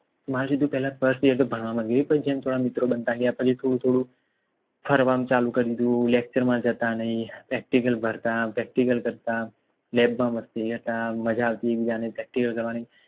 મારે સીધું પેહલા First year માં ભણવામાં ગયા પણ જેમ થોડા મિત્રો બનતા ગયા પછી થોડું થોડું ફરવાનું ચાલુ કરી દીધું lecture માં જતા નહીં Practical ભરત Practical કરતા લેબમાં મસ્તી કરતા મજાકથી એક બીજાને